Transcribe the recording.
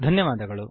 ಧನ್ಯವಾದಗಳು